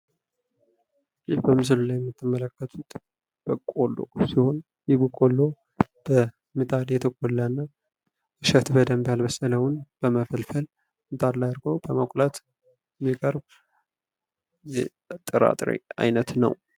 ይህ በምስሉ ላይ የምትመለከቱት በቆሉ ሲሆን። ይህ በቆሎ በምጣ የተቆላና እሸቱን በመፈልፈልግ ምጣድ ላይ በመቁላት የሚቀርብ የጥራጥሬ አይነት ነው።